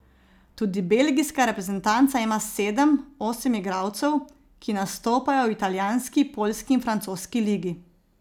Tudi belgijska reprezentanca ima sedem, osem igralcev, ki nastopajo v italijanski, poljski in francoski ligi.